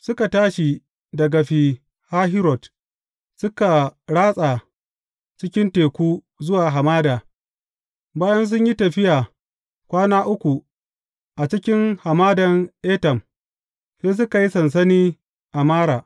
Suka tashi daga Fi Hahirot, suka ratsa cikin teku zuwa hamada, bayan sun yi tafiya kwana uku a cikin Hamadan Etam, sai suka yi sansani a Mara.